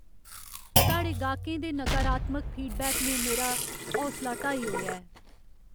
साढ़े गाह्कें दे नकारात्मक फीडबैक ने मेरा हौसला ढाई ओड़ेआ ऐ।